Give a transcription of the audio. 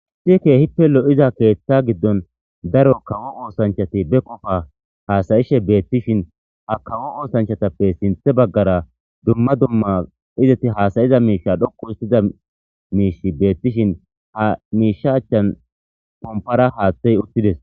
Issi keehippe lo7iza keeththa giddon daro kawo oosanchati be qofa haasayishe beettishin ha kawo oosanchatappe sinthe baggara dumma dumma izeti haasayiza miisha dhoqu histida miishi beettishin, ha miisha achchan pompara haaththey uttides.